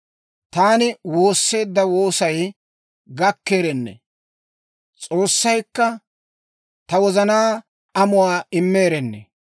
«Taani woosseedda woosay gakkeerennee! S'oossaykka ta wozanaa amuwaa immeerennee!